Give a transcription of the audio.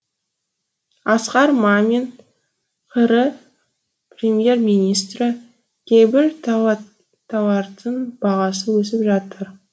асқар мамин қр премьер министрі кейбір тауардың бағасы өсіп жатыр